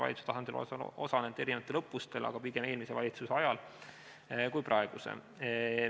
Valitsuse tasandil olen ma osalenud erinevatel õppustel, aga pigem eelmise valitsuse ajal, mitte praeguse ajal.